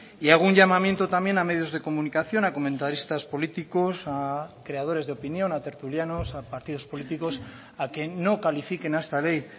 y hago un llamamiento también a medios de comunicación a comentaristas políticos a creadores de opinión a tertulianos a partidos políticos a que no califiquen a esta ley